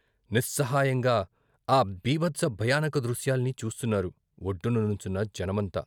నిస్సహాయంగా ఆ బీభత్స భయానక దృశ్యాల్ని చూస్తున్నారు వొడ్డుననుంచున్న జనమంతా.